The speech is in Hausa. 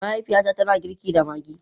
Mahaifiyata tana girki da Maggi.